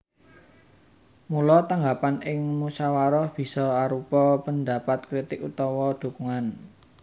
Mula tanggapan ing musawarah bisa arupa pendapat kritik utawa dukungan